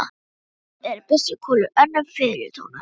Sum orð eru byssukúlur, önnur fiðlutónar.